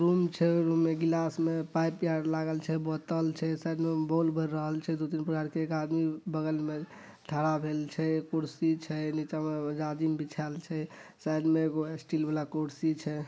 Room छै room मे glass मे पाइप आर लागल छै बोतल छै साइड मे बोल बेर रहल छै दू तीन एक आदमी बगल मे ठड़ा भेल छै कुर्सी छै नीचा मे जाजिन बिछाईल छै साइड मे एगो स्टील वाला कुर्सी छै।